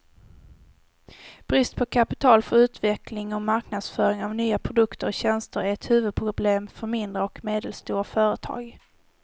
Brist på kapital för utveckling och marknadsföring av nya produkter och tjänster är ett huvudproblem för mindre och medelstora företag.